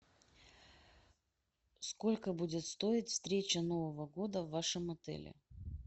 сколько будет стоить встреча нового года в вашем отеле